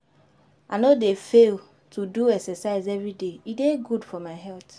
I no dey fail to do exercise everyday, e dey good for my health.